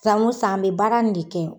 San o san, an bɛ baara in de kɛ.